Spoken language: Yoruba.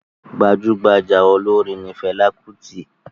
Gbajugbaja olorin ni Fẹla Kuti.